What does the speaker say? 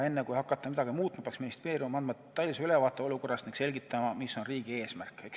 Enne kui hakata midagi muutma, peaks ministeerium andma tõelise ülevaate olukorrast ning selgitama, mis on riigi eesmärk.